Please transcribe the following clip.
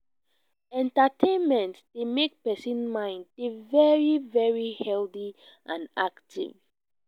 entertaimment dey make person mind dey very very healthy and active